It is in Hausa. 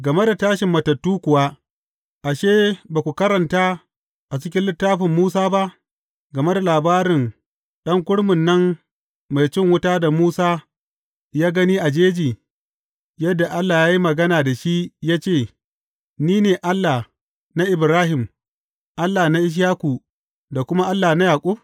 Game da tashin matattu kuwa, ashe, ba ku karanta a cikin littafin Musa ba, game da labarin ɗan kurmin nan mai cin wuta da Musa ya gani a jeji, yadda Allah ya yi magana da shi ya ce, Ni ne Allah na Ibrahim, Allah na Ishaku da kuma Allah na Yaƙub’?